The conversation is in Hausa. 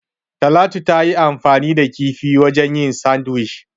Talatu tayi anfani da kifi wajen yin "Sandwich".